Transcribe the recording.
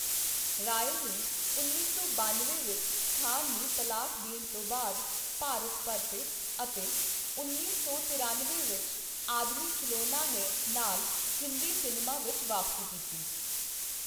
ਰਾਏ ਨੇ ਉੱਨੀ ਸੌ ਬਾਨਵੇਂ ਵਿੱਚ ਖਾਨ ਨੂੰ ਤਲਾਕ ਦੇਣ ਤੋਂ ਬਾਅਦ ਭਾਰਤ ਪਰਤੇ ਅਤੇ ਉੱਨੀ ਸੌ ਤਰਿਅਨਵੇਂ ਵਿੱਚ 'ਆਦਮੀ ਖ਼ਿਲੋਨਾ ਹੈ' ਨਾਲ ਹਿੰਦੀ ਸਿਨੇਮਾ ਵਿੱਚ ਵਾਪਸੀ ਕੀਤੀ।